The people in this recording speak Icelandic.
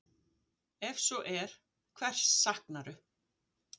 Ef svo er, hvers saknarðu?